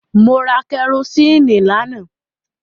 Mo ra kẹrosíìnì lánàá.